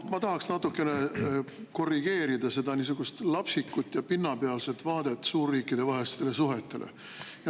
No ma tahaks natukene korrigeerida niisugust lapsikut ja pinnapealset vaadet suurriikidevahelistele suhetele.